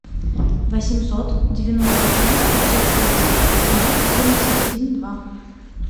восемьсот девяносто три пятьсот тридцать ноль семьдесят один два